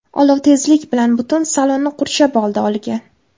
Olov tezlik bilan butun salonni qurshab oldi olgan.